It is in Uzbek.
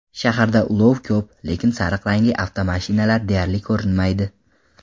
Shaharda ulov ko‘p, lekin sariq rangli avtomashinalar deyarli ko‘rinmaydi.